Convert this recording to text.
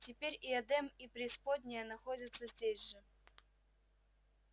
теперь и эдем и преисподняя находятся здесь же